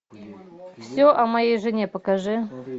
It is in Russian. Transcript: все о моей жене покажи